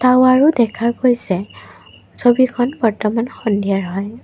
টাৱাৰো দেখা গৈছে ছবিখন বৰ্তমান সন্ধিয়াৰ হয়।